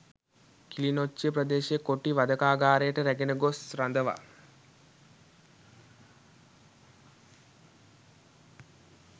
කිලිනොච්චිය ප්‍රදේශයේ කොටි වධකාගාරයට රැගෙන ගොස් රඳවා